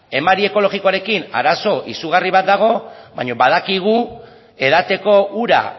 emari ekologikoarekin arazo izugarri bat dago baino badakigu edateko ura